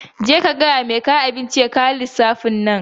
Je ka gaya wa mai kawo abinci ya kawo lissafi na.